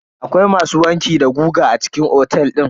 Akwai masu wanki da goga a cikin otel din?